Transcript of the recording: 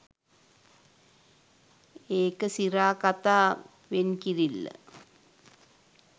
ඒක සිරා කතා වෙන්කිරිල්ල